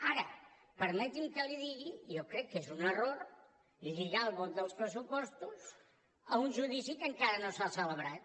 ara permeti’m que li digui jo crec que és un error lligar el vot dels pressupostos a un judici que encara no s’ha celebrat